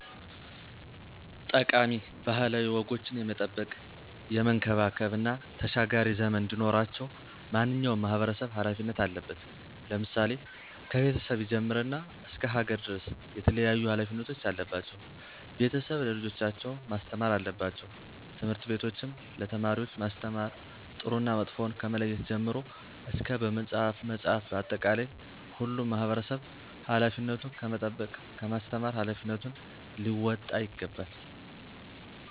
ጠቃሚ ባህላዊ ወጎችን የመጠበቅ፣ የመንከባከብ እና ተሻጋሪ ዘመን እንዲኖራቸው ማንኛውም ማህበረሰብ ሀላፊነት አለበት። ለምሳሌ፦ ከቤተሰብ ይጀምርና እስከ ሀገር ድረስ የተለያዩ ሀላፊነቶች አለባቸው። ቤተሰብ ለልጆቻቸው ማስተማር አለባቸው። ትምህርት ቤቶችም ለተማሪወች ማስተማር ጥሩና መጥፎውን ከመለየት ጀምሮ እስከ በመፅሀፍ መፅሀፍ በአጠቃላይ ሁሉም ማህበረሰብ ሀላፊነቱን ከመጠበቅ ከማስተማር ሀላፊነቱን ሊወጣ ይገባል።